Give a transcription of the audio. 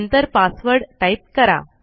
नंतर password type करा